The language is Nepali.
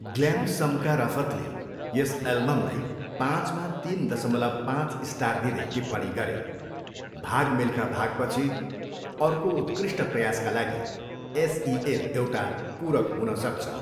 ग्ल्यामसमका रफतले यस एल्बमलाई पाँचमा तिन दसमलव पाँच स्टार दिँदै टिप्पणी गरे, भाग मिल्खा भागपछि अर्को उत्कृष्ट प्रयासका लागि एस ई एल एउटा पूरक हुन सक्छ।